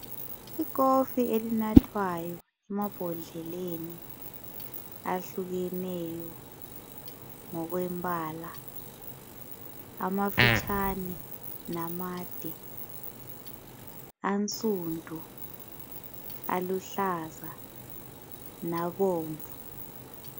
Ikofi elinathwayo emabhodleleni ahlukeneyo ngokwembala. Amafitshane namade, ansundu, aluhlaza nabomvu